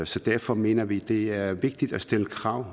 så derfor mener vi at det er vigtigt at stille krav